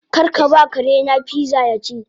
Karkaba karena pizza yaci